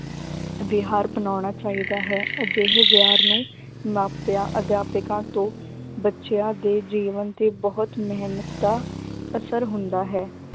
ਵਿਹਾਰ ਅਪਨਾਉਣਾ ਚਾਹੀਦਾ ਹੈ, ਅਜਿਹੇ ਵਿਹਾਰ ਨੂੰ ਮਾਪਿਆਂ ਅਧਿਆਪਕਾਂ ਤੋਂ ਬੱਚਿਆਂ ਦੇ ਜੀਵਨ ਤੇ ਬਹੁਤ ਮਿਹਨਤਾ ਦਾ ਅਸਰ ਹੁੰਦਾ ਹੈ